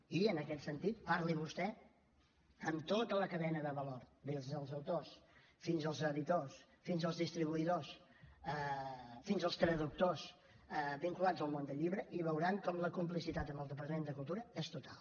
i en aquest sentit parli vostè amb tota la cadena de valor des dels autors fins als editors fins als distribuïdors fins als traductors vinculats al món del llibre i veuran com la complicitat amb el departament de cultura és total